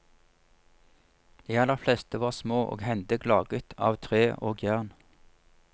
De aller fleste var små og hendig og laget av tre og jern.